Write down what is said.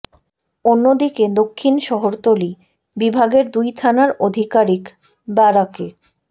অন্য দিকে দক্ষিণ শহরতলি বিভাগের দুই থানার আধিকারিক ব্যারাকে